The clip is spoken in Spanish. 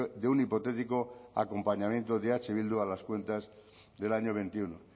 de un hipotético acompañamiento de eh bildu a las cuentas del año veintiuno